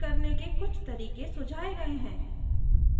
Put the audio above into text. * अगर दाँतों में cavities का पता चले